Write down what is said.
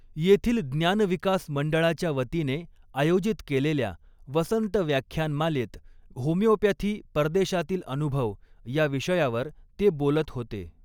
येथील ज्ञानविकास मंडळाच्या वतीने आयोजित केलेल्या वसंत व्याख्यानमालेत होमिओपॅथी परदेशातील अनुभव या विषयावर ते बोलत होते.